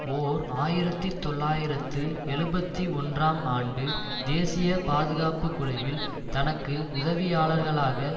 ஓர் ஆயிரத்தி தொள்ளாயிரத்து எழுபத்து ஒன்றாம் ஆண்டு தேசிய பாதுகாப்பு குழுவில் தனக்கு உதவியாளர்களாக